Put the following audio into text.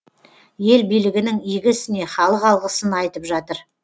ел билігінің игі ісіне халық алғысын айтып жатыр